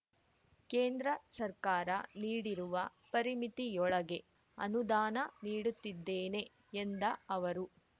ಕೇಂದ್ರ ಸರ್ಕಾರ ನೀಡಿರುವ ಪರಿಮಿತಿಯೊಳಗೆ ಅನುದಾನ ನೀಡುತ್ತಿದ್ದೇನೆ ಎಂದ ಅವರು